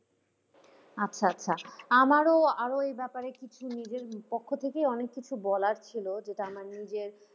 আচ্ছা আচ্ছা আমারও আরও এই ব্যাপারে কিছু নিজের পক্ষ থেকে অনেক কিছু বলার ছিল যেটা আমার নিজের,